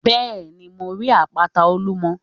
Bẹ́ẹ̀ni, mo rí àpáta Olúmo